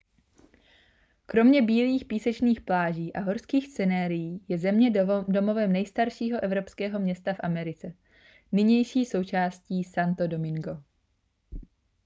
kromě bílých písečných pláží a horských scenérií je země domovem nejstaršího evropského města v americe nynější součásti santo domingo